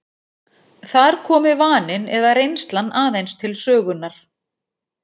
Þar komi vaninn eða reynslan aðeins til sögunnar.